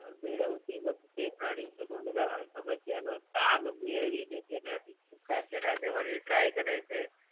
મેળવતી વખતે પ્રાણી અનુમરાલ સ્મ્ધ્યનો તાગ મેળવી દેછે અને ઊગતાછેડાને વરી try કરે છે